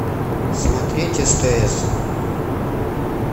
смотреть стс